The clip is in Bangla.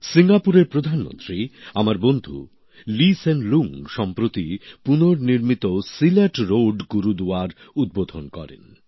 সিঙ্গাপুরের প্রধানমন্ত্রী আমার বন্ধু লি সেন লুঙ সম্প্রতি পুনর্নির্মিত সিলাট রোড গুরুদুয়ারার উদ্বোধন করেন